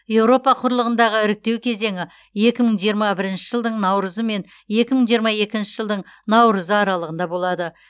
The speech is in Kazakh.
еуропа құрлығындағы іріктеу кезеңі екі мың жиырма бірінші жылдың наурызы мен екі мың жиырма екінші жылдың наурызы аралығында болады